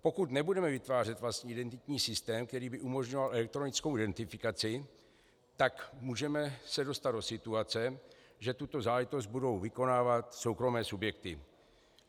Pokud nebudeme vytvářet vlastní identitní systém, který by umožňoval elektronickou identifikaci, tak se můžeme dostat do situace, že tuto záležitost budou vykonávat soukromé subjekty.